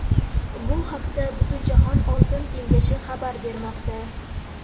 Bu haqda Butunjahon oltin kengashi xabar bermoqda .